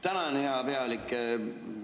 Tänan, hea pealik!